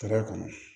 Ka d'a kan